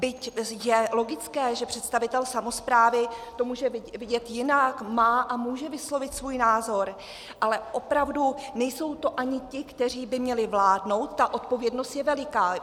Byť je logické, že představitel samosprávy to může vidět jinak, má a může vyslovit svůj názor, ale opravdu nejsou to ani ti, kteří by měli vládnout, ta odpovědnost je veliká.